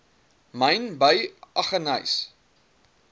myn by aggeneys